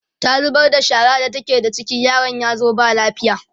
ta zubar da shara da take da ciki yaron yazo ba lafiya